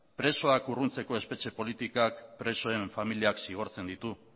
presoak urruntzeko espetxe politikak presoen familiak zigortzen ditu